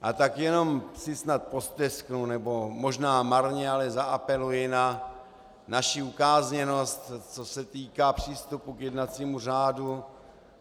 A tak si jenom snad postesknu, nebo možná marně, ale zaapeluji na naši ukázněnost, co se týká přístupu k jednacímu řádu.